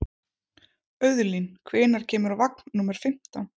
Auðlín, hvenær kemur vagn númer fimmtán?